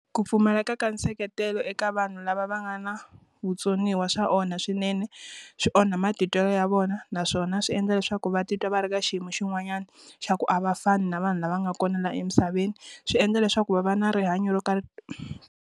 Ku pfumaleka ka nseketelo eka vanhu lava va nga na vutsoniwa swa onha swinene. Swi onha matitwelo ya vona, naswona swi endla leswaku va titwa va ri ka xiyimo xin'wanyana, xa ku a va fani na vanhu lava nga kona la emisaveni. Swi endla leswaku va va na rihanyo ro ka.